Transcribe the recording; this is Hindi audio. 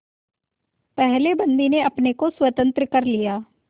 पहले बंदी ने अपने को स्वतंत्र कर लिया